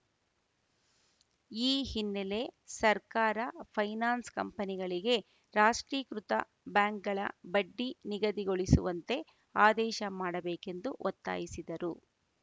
ಈ ಹಿನ್ನೆಲೆ ಸರ್ಕಾರ ಪೈನಾನ್ಸ್‌ ಕಂಪನಿಗಳಿಗೆ ರಾಷ್ಟ್ರೀಕೃತ ಬಾಂಕ್‌ಗಳ ಬಡ್ಡಿ ನಿಗದಿಗೊಳಿಸುವಂತೆ ಆದೇಶ ಮಾಡಬೇಕೆಂದು ಒತ್ತಾಯಿಸಿದರು